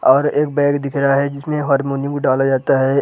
और एक बैग दिख रहा है जिसमें हार्मोनियम को डाला जाता है ।